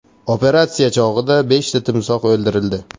Operatsiya chog‘ida beshta timsoh o‘ldirildi.